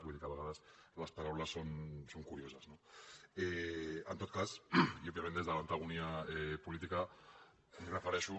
vull dir que a vegades les paraules són curio ses no en tot cas i òbviament des de l’antagonisme polític m’hi refereixo